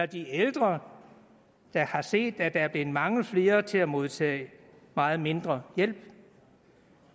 de ældre der har set at der er blevet mange flere til at modtage meget mindre hjælp